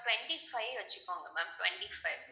twenty-five வச்சுக்கோங்க ma'am twenty-five